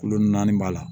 Kulo naani b'a la